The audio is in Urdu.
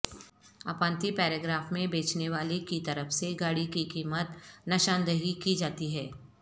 اپانتی پیراگراف میں بیچنے والے کی طرف سے گاڑی کی قیمت نشاندہی کی جاتی ہے